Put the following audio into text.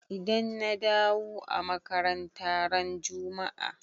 Idan na dawu a makaranta ran jumma'a.